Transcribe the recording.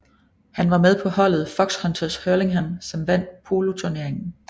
Han var med på holdet Foxhunters Hurlingham som vandt poloturneringen